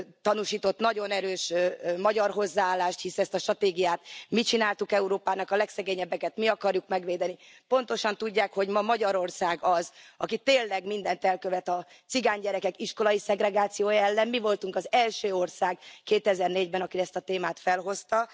tanúsított nagyon erős magyar hozzáállást hisz ezt a stratégiát mi csináltuk Európának, a legszegényebbeket mi akarjuk megvédeni pontosan tudják, hogy ma Magyarország az, aki tényleg mindent elkövet a cigánygyerekek iskolai szegregációja ellen. Mi voltunk az első ország 2004 ben, aki ezt a témát felhozta.